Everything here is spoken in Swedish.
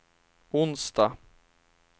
onsdag